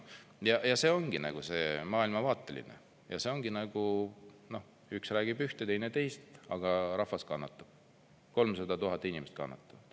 Ja see ongi see maailmavaateline ja see ongi, nagu üks räägib ühte ja teine teist, aga rahvas kannatab, 300 000 inimest kannatavad.